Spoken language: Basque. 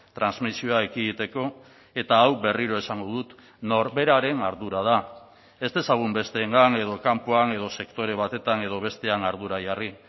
transmisioa ekiditeko eta hau berriro esango dut norberaren ardura da ez dezagun besteengan edo kanpoan edo sektore batetan edo bestean ardura jarri